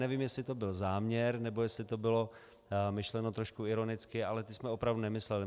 Nevím, jestli to byl záměr, nebo jestli to bylo myšleno trošku ironicky, ale ty jsme opravdu nemysleli.